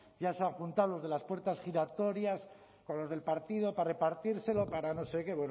ya se han juntado los de las puertas giratorias con los del partido para repartírselo para no sé qué